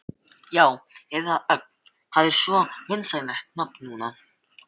Já, eða þá Ögn, það er svo vinsælt nafn núna.